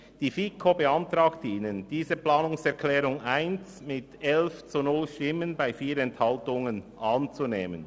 Die FiKo beantragt Ihnen, die Planungserklärung 1 mit 11 zu 0 Stimmen bei 4 Enthaltungen anzunehmen.